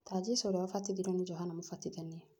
Ta Jesũ ũrĩa abatithirio nĩ Johana mũbatithania